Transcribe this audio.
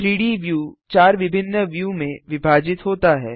3डी व्यू 4 विभिन्न व्यू में विभाजित होता है